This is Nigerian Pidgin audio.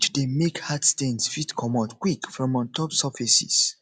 dey make hard stains fit comot quick from ontop surfaces